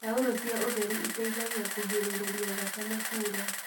Taurũ cia ũtheru iteithagia kũgirĩrĩria thakame kuura.